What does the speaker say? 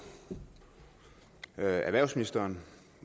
erhvervsministeren